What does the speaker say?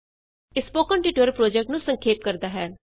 ਇਹ spoken tutorial project ਨੂੰ ਸੰਖੇਪ ਕਰਦਾ ਹੈ